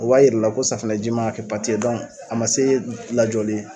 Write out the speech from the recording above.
O b'a yir'i la ko safinɛji ma a kɛ pati ye dɔnku a ma se lajɔli ye